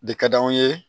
De ka d'anw ye